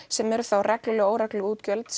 sem eru þá regluleg og óregluleg útgjöld